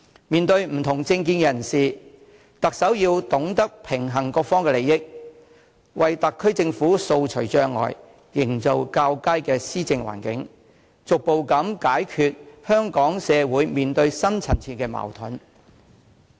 面對不同政見人士，特首要懂得平衡各方利益，為特區政府掃除障礙、營造較佳的施政環境，逐步解決香港社會面對的深層次矛盾。